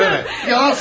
Yalan söyləmə!